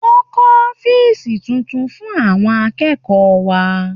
Wọ́n kọ́ ọ́fíìsì tuntun fún àwọn akẹ́kọ̀ọ́ wa.